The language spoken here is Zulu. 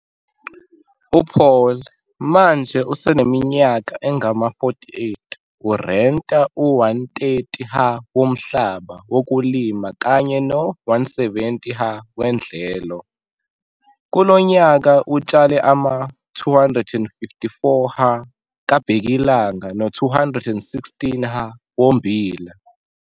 U-Paul, manje useneminyaka engama-48, urenta u-130 ha womhlaba wokulima kanye no-170 ha wedlelo. Kulo nyaka utshale ama-254 ha kabhekilanga no-216 ha ommbila.